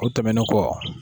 O tɛmɛnnen kɔ.